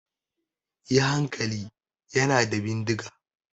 Yi hankali! Yana da bindiga!